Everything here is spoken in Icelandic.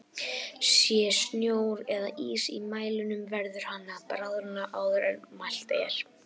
Sé snjór eða ís í mælinum verður hann að bráðna áður en mælt er.